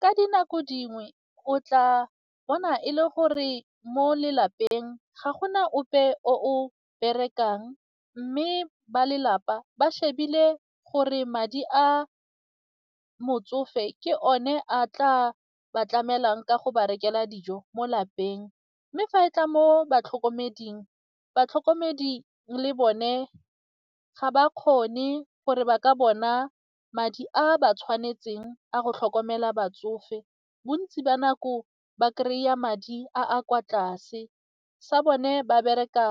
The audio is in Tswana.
Ka dinako dingwe o tla bona e le gore mo lelapeng ga gona ope o berekang mme ba lelapa ba shebile gore madi a motsofe ke one a tla ba tlamelang ka go ba rekela dijo mo lapeng mme fa e tla mo batlhokomeding, batlhokomedi le bone ga ba kgone gore ba ka bona madi a a ba tshwanetseng a go tlhokomela batsofe, bontsi ba nako ba kry-a madi a a kwa tlase sa bone ba bereka